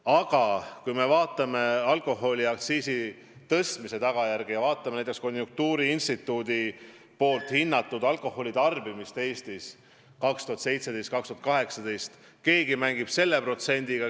Aga kui me vaatame alkoholiaktsiisi tõstmise tulemusi ja näiteks konjunktuuriinstituudi hinnatud alkoholitarbimist Eestis 2017–2018, siis näeme, et keegi mängib selle protsendiga.